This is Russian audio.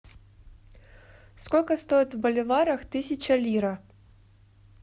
сколько стоит в боливарах тысяча лира